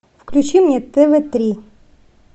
включи мне тв три